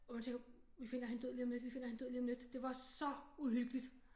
Og man tænker vi finder hende død lige om lidt vi finder hende død lige om lidt det var så uhyggeligt